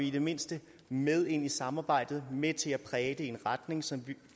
i det mindste med ind i samarbejdet og med til at præge det i en retning som vi